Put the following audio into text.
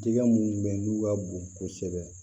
Jɛgɛ minnu bɛ yen n'u ka bon kosɛbɛ